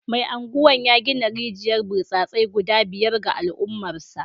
Mai Agwan ya gina rijiyar burtsatse guda biyar ga al’ummarsa